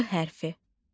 R hərfi.